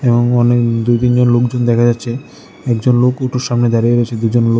এবং অনেক দুই তিনজন লোকজন দেখা যাচ্ছে একজন লোক ওটোর সামনে দাঁড়ায় রইছে দুজন লোক--